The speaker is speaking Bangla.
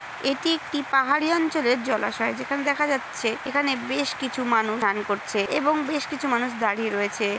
এটি একটি পাহাড়ি অঞ্চলের জলাশয় যেখানে দেখা যাচ্ছে এখানে বেশ কিছু মানুষ স্নান করছে এবং বেশ কিছু মানুষ দাঁড়িয়ে রয়েছে।